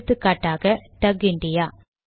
எடுத்துகாட்டாக டக் இந்தியா